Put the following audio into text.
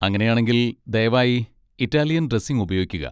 അങ്ങനെയാണെങ്കിൽ, ദയവായി Italian dressing ഉപയോഗിക്കുക.